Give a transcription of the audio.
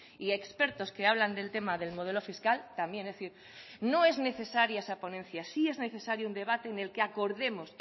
y expertos que hablan del tema del modelo fiscal también es decir no es necesaria esa ponencia sí es necesario un debate en el que acordemos